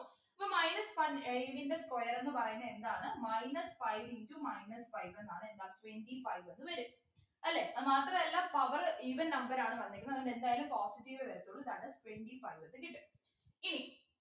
so minus five ഏർ ഇതിൻ്റെ square എന്ന് പറയുന്നെ എന്താണ് minus five into minus five ന്നാണ് എന്താ twenty five എന്ന് വരും അല്ലെ അതുമാത്രല്ല power even number ആണ് വന്നേക്കുന്നെ അതുകൊണ്ടെന്തായാലും positive എ വരത്തുള്ളൂ that is twenty five എന്ന് കിട്ടും ഇനി